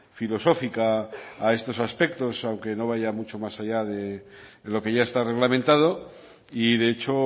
filosófica a estos aspectos aunque no vaya mucho más allá de lo que ya está reglamentado y de hecho